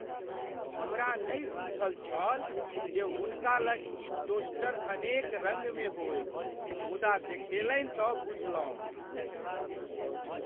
हमरा नहि बुझल छल जे हुनका लग ई टोस्टर अनेक रङ्गमे होयत मुदा, देखेलनि तँ बुझलहुँ।